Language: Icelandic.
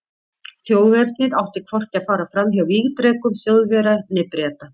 Þjóðernið átti hvorki að fara fram hjá vígdrekum Þjóðverja né Breta.